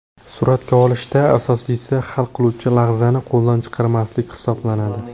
Suratga olishda asosiysi hal qiluvchi lahzani qo‘ldan chiqarmaslik hisoblanadi.